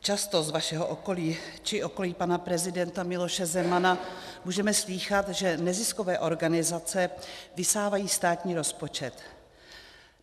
Často z vašeho okolí či okolí pana prezidenta Miloše Zemana můžeme slýchat, že neziskové organizace vysávají státní rozpočet.